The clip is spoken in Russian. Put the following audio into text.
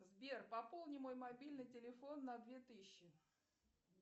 сбер пополни мой мобильный телефон на две тысячи